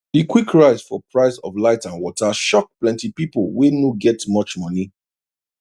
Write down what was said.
the quick rise for price of light and water shock plenty people wey no get much money